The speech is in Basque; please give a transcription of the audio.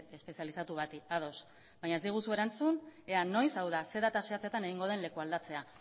espezializatu bati ados baina ez diguzu erantzun ea noiz hau da zein data zehatzetan egingo den lekualdatzea